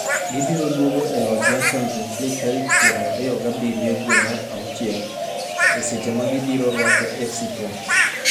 Gibiro duogo e loch mar Champions League tarik 27 dwe mar auchiel, e seche ma gibiro rwako FC Porto.